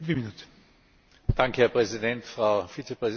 Herr Präsident, Frau Vizepräsidentin der Kommission!